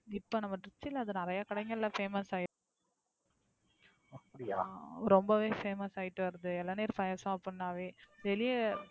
இப்ப நம்ப திருச்சில நிறைய கடைங்கள Famous ஆயிருச்சு ரொம்பவே Famous ஆயிட்டு வருது இளநீர் பாயாசம் அப்படின்னாவே வெளிய